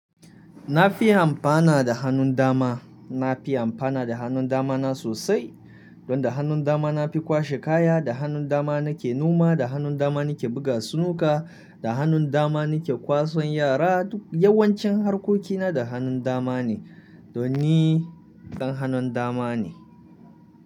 Na fi amfana da hannun dama. Na fi amfana da hannun dama na sosai. Don da hannun dama na fi kwashe kaya, da hannun dama na ke noma, da hannun dama na ke buga sinuka, da hannun dama na ke kwasan yara. Duk yawancin harkoki na da hannun dama ne. Don ni dan hannun dama ne.